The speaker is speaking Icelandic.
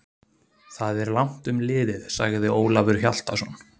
Það er langt um liðið, sagði Ólafur Hjaltason.